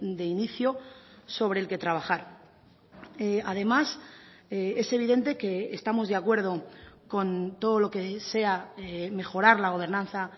de inicio sobre el que trabajar además es evidente que estamos de acuerdo con todo lo que sea mejorar la gobernanza